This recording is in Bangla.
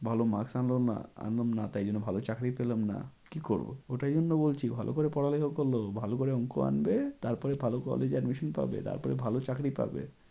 ভালো maks আনলাম না তাই জন্য ভালো চাকরি পেলাম না। কি করবো তাই জন্য তো বলছি ভালো করে পড়ালেখা ভালো করে অঙ্ক আনবে তারপরে ভালো college এ admission পাবে তারপরে ভালো চাকরি পাবে।